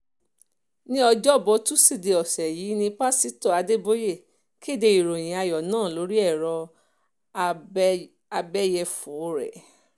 ní ọ̀jọ̀bọ̀ tọ́sídéé ọ̀sẹ̀ yìí ní pásítọ̀ adébóye kéde ìròyìn ayọ̀ náà lórí ẹ̀rọ abẹ́yẹfọ́ rẹ̀